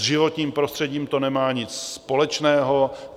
S životním prostředím to nemá nic společného.